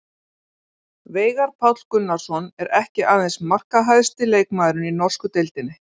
Veigar Páll Gunnarsson er ekki aðeins markahæsti leikmaðurinn í norsku deildinni.